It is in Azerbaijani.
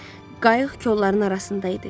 Qayıq kolların arasında idi.